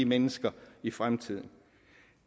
mennesker i fremtiden